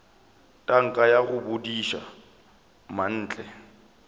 tanka ya go bodiša mantle